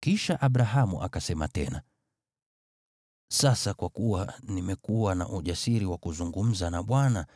Kisha Abrahamu akasema tena: “Sasa kwa kuwa nimekuwa na ujasiri wa kuzungumza na Bwana,